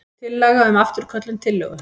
Tillaga um afturköllun tillögu.